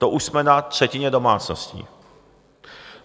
To už jsme na třetině domácností.